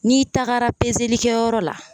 N'i tagara kɛyɔrɔ la